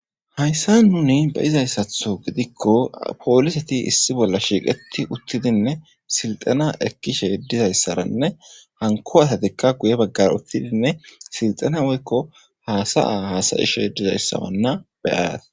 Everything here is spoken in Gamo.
hayssa nuni be'izayssatho gidikko pooliseti issi bolla shiiqeti uttidinne silxana ekkishe dizayssaranne hanko asatikka guye baggara uttidinne silxana woykko haasaya hasayishe dizayssawanna beyayat